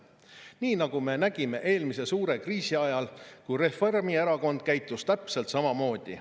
Nii nagu me nägime eelmise suure kriisi ajal, kui Reformierakond käitus täpselt samamoodi.